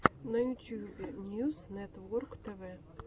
на ютьюбе ньюс нетворктв